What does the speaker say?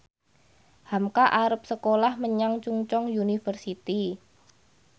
hamka arep sekolah menyang Chungceong University